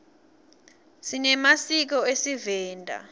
sinemasiko esivenda